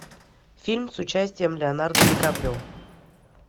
фильм с участием леонардо ди каприо